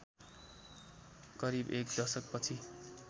करिब एक दशकपछि